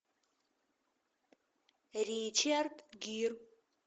ричард гир